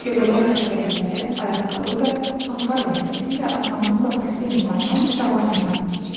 Göbələk xəstəlikləri ayaqqabı və paltar vasitəsilə asanlıqla xəstə insandan sağlam insana keçir.